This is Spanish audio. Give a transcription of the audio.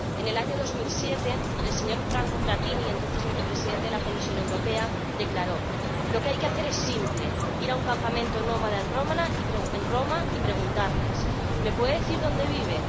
En el año 2007, el señor Franco Frattini, entonces Vicepresidente de la Comisión Europea, declaró Lo que hay que hacer es simple id a un campamento nómada en Roma y preguntarles ¿Me puede decir dónde vive